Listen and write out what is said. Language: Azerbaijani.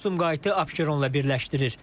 Bu yol Sumqayıtı Abşeronla birləşdirir.